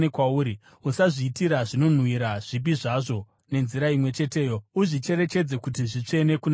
Usazviitira zvinonhuhwira zvipi zvazvo nenzira imwe cheteyo; uzvicherechedze kuti zvitsvene kuna Jehovha.